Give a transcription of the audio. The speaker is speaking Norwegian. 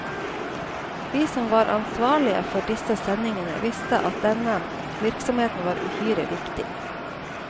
Vi som var ansvarlige for disse sendingene, visste at denne virksomheten var uhyre viktig.